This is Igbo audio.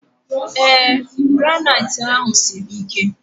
Ee, granaitị ahụ siri ike